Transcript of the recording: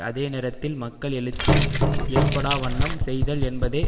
அதே நேரத்தில் மக்கள் எழுச்சி ஏற்படா வண்ணம் செய்தல் என்பதே